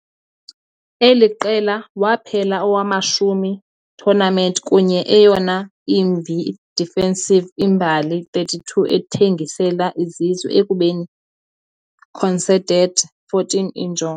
Eli qela waphela owamashumi tournament kunye eyona imbi i-defensive imbali 32 ethengisela izizwe, ekubeni conceded 14 injongo.